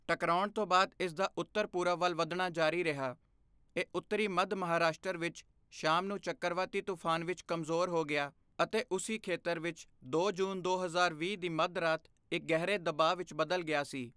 ਟਕਰਾਉਣ ਤੋਂ ਬਾਅਦ ਇਸਦਾ ਉੱਤਰ ਪੂਰਬ ਵੱਲ ਵਧਣਾ ਜਾਰੀ ਰਿਹਾ, ਇਹ ਉੱਤਰੀ ਮੱਧ ਮਹਾਰਾਸ਼ਟਰ ਵਿੱਚ ਸ਼ਾਮ ਨੂੰ ਚੱਕਰਵਾਤੀ ਤੂਫਾਨ ਵਿੱਚ ਕਮਜ਼ੋਰ ਹੋ ਗਿਆ ਅਤੇ ਉਸੀ ਖੇਤਰ ਵਿੱਚ ਦੋ ਜੂਨ, ਦੋ ਹਜ਼ਾਰ ਵੀਹ ਦੀ ਮੱਧ ਰਾਤ ਇੱਕ ਗਹਿਰੇ ਦਬਾਅ ਵਿੱਚ ਬਦਲ ਗਿਆ ਸੀ।